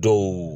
Dɔw